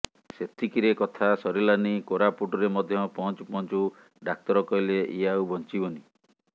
ସେତିକିରେ କଥା ସାରିଲା ନି କୋରାପୁଟ ରେ ମଧ୍ୟ ପହଞ୍ଚୁ ପହଞ୍ଚୁ ଡାକ୍ତର କହିଲେ ୟେ ଆଉ ବଞ୍ଚିବନି